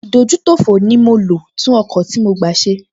Ìdójútòfò mi ló tún ọkọ̀ tí mo gbá ṣe